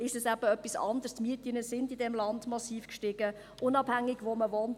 Die Mieten in diesem Land sind massiv gestiegen, unabhängig davon, wo man wohnt.